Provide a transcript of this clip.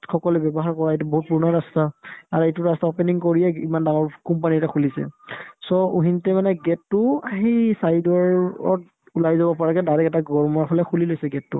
সকলে ব্যৱহাৰ কৰা এইটো বহুত পূৰণা ৰাস্তা আৰু এইটো ৰাস্তা opening কৰিয়ে ইমান ডাঙৰ company এটা খুলিছে so ওহিন্তে মানে gate তো সেই side ৰ অত ওলাই যাব পাৰাকে direct এটা room ৰ ফালে খুলি লৈছে gate তো